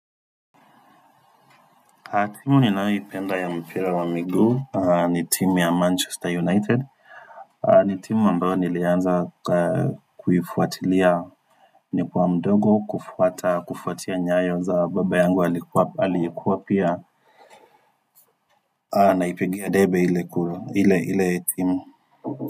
Timu ninayoipenda ya mpira wa miguu ni timu ya manchester united ni timu ambayo nilianza kuifuatilia nikiwa mdogo kufuata kufuatia nyayo za baba yangu alikuwa alikuwa pia naipigia debe ile kuru ile ile timu.